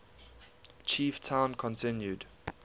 chief town continued